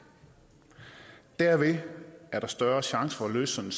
derved er der større chance for at løse en